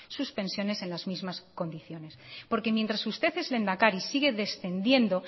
sus pensiones en las mismas condiciones porque mientras usted es lehendakari sigue descendiendo